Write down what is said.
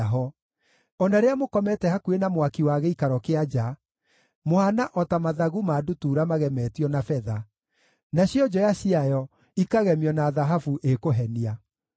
O na rĩrĩa mũkomete hakuhĩ na mwaki wa gĩikaro kĩa nja, mũhaana o ta mathagu ma ndutura magemetio na betha, nacio njoya ciayo ikagemio na thahabu ĩkũhenia.”